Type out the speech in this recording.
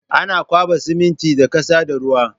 Ana kwaɓa siminti da ƙasa da ruwa